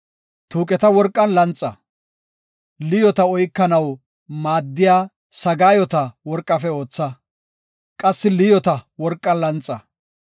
Tuuqeta worqan lanxa; liyoota oykanaw maaddiya sagaayota worqafe ootha; qassi liyoota worqan lanxa.